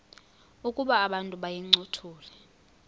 ukuba abantu bayincothule